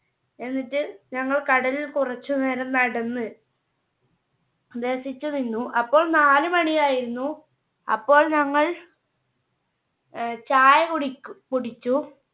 എന്നിട്ട് ഞങ്ങൾ കടലിൽ കുറച്ച് നേരം നടന്ന് രസിച്ച് നിന്നു. അപ്പം നാല് മണി ആയിരുന്നു അപ്പോൾ ഞങ്ങൾ അഹ് ചായ കുടിക്കു കുടിച്ചു.